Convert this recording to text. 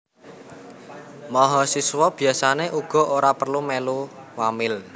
Mahasiswa biasané uga ora perlu mèlu wamil